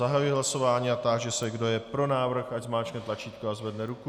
Zahajuji hlasování a táži se, kdo je pro návrh, ať zmáčkne tlačítko a zvedne ruku.